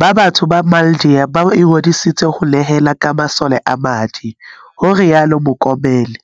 ba batsho le maIndia ba ingodiseditseng ho nehela ka masole a madi, ho rialo Mokomele.